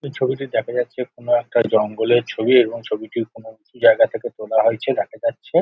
এই ছবিতে দেখা যাচ্ছে কোনো একটা জঙ্গলের ছবি এবং ছবিটি কোনো উচু জায়গা থেকে তোলা হয়েছে দেখা যাচ্ছে।